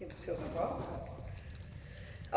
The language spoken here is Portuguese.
E dos seus avós?